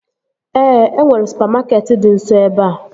Ee, e nwere supamakeetị dị nso ebea